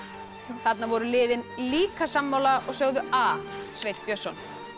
þarna voru liðin líka sammála og sögðu a Sveinn Björnsson